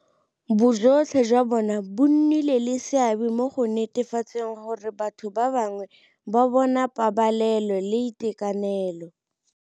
Bojotlhe jwa bona bo nnile le seabe mo go netefatseng gore batho ba bangwe ba bona pabalelo le itekanelo.